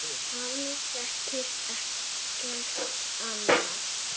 Hann þekkir ekkert annað.